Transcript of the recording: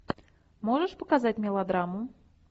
можешь показать мелодраму